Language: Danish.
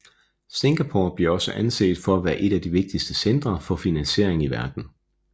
Singapore bliver også anset for at være et af de vigtigste centre for finansiering i verden